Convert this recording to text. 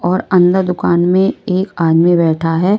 और अंदर दुकान में एक आदमी बैठा है।